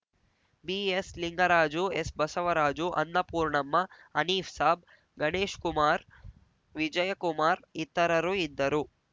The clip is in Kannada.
ಬಿಎಸ್‌ಲಿಂಗರಾಜು ಎಸ್‌ಬಸವರಾಜು ಅನ್ನಪೂರ್ಣಮ್ಮ ಹನೀಫ್‌ ಸಾಬ್‌ ಗಣೇಶ್ ಕುಮಾರ್ ವಿಜಯಕುಮಾರ್ ಇತರರು ಇದ್ದರು